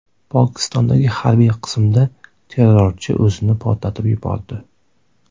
Pokistondagi harbiy qismda terrorchi o‘zini portlatib yubordi.